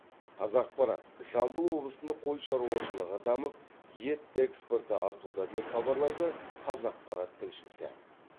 қазақпарат жамбыл облысында қой шаруашылығы дамып ет экспорты артуда деп хабарлайды қазақпарат тілшісі